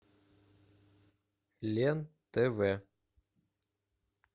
лен тв